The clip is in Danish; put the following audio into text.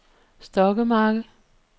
Stokkemarke